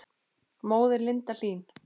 Móðir Linda Hlín.